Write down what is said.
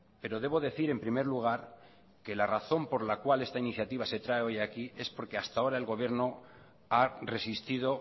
pero debo decir en primer lugar que la razón por la cual esta iniciativa se trae hoy aquí es porque hasta ahora el gobierno ha resistido